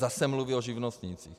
Zase mluví o živnostnících.